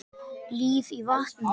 Líf í vatni.